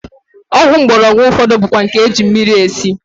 Ọgwụ mgbọrọgwụ ụfọdụ bụkwa nke e ji mmiri esi